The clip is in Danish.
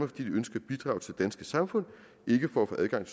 de ønsker at bidrage til det danske samfund ikke for at få adgang